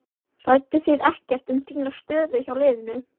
Rædduð þið ekkert um þína stöðu hjá liðinu?